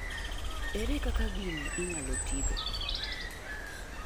ere kaka gini inyalo tigi